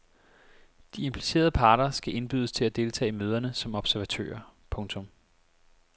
De implicerede parter skal indbydes til at deltage i møderne som observatører. punktum